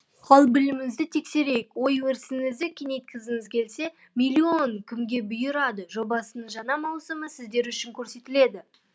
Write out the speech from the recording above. ал біліміңізді тексерейк ой өрісіңізді кеңейткіңіз келсе миллион кімге бұйырады жобасының жаңа маусымы сіздер үшін көрсетіледі